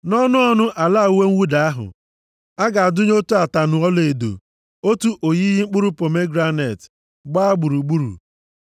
Nʼọnụ ọnụ ala uwe mwụda ahụ, a ga-adụnye otu ataṅụ ọlaedo, otu oyiyi mkpụrụ pomegranet, gbaa gburugburu.